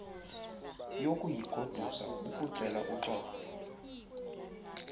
yokuyigodusa ukucela uxolo